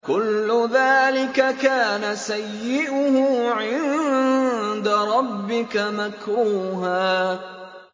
كُلُّ ذَٰلِكَ كَانَ سَيِّئُهُ عِندَ رَبِّكَ مَكْرُوهًا